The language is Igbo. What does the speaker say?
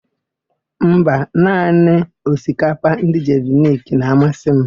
Mba, naanị osikapa ndị Jeviniki na-amasị m.